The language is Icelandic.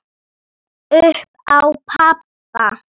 Upp á pabba.